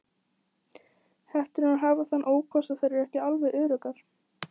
Hetturnar hafa þann ókost að þær eru ekki alveg öruggar.